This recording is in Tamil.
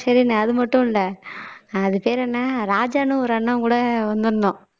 ஷெரினு அது மட்டும் இல்லை அது பேர் என்ன ராஜான்னு ஒரு அண்ணன் கூட வந்திருந்தோம்